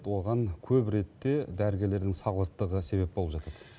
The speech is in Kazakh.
оған көбіретте дәрігерлердің салғырттығы да себеп болып жатады